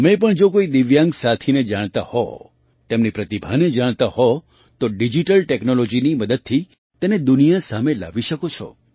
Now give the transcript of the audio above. તમે પણ જો કોઈ દિવ્યાંગ સાથીને જાણતા હો તેમની પ્રતિભાને જાણતા હો તો ડિજિટલ ટૅક્નૉલૉજીની મદદથી તેને દુનિયા સામે લાવી શકો છો